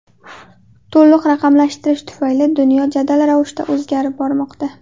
To‘liq raqamlashtirish tufayli dunyo jadal ravishda o‘zgarib bormoqda.